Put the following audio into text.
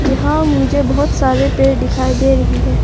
यहां मुझे बहोत सारे पेड़ दिखाई दे रही है।